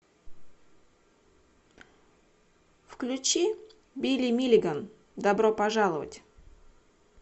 включи билли миллиган добро пожаловать